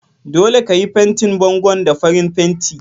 Dole ka yi fantin bangon da farin fanti!